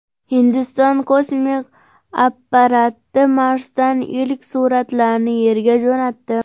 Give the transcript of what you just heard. Hindiston kosmik apparati Marsdan ilk suratlarni Yerga jo‘natdi.